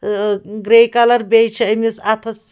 .أٲگرے colour بیٚیہِ چھ أمِس اَتھس